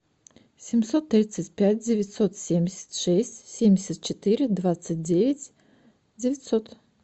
семьсот тридцать пять девятьсот семьдесят шесть семьдесят четыре двадцать девять девятьсот